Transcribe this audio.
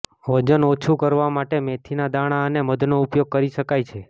વજન ઓછું કરવા માટે મેથીના દાણા અને મધનો ઉપયોગ કરી શકાય છે